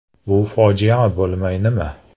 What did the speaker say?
Bu fojia bo‘lmay nima?